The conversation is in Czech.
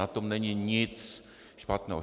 Na tom není nic špatného.